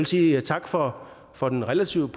sige tak for for den relativt